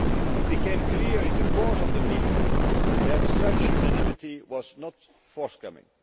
It became clear in the course of the meeting that such unanimity was not forthcoming.